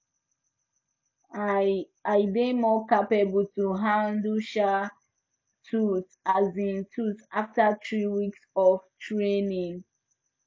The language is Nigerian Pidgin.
i dey more capable to handle um tools um tools after three weeks of training